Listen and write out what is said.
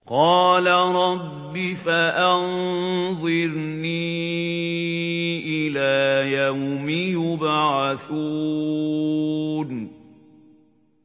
قَالَ رَبِّ فَأَنظِرْنِي إِلَىٰ يَوْمِ يُبْعَثُونَ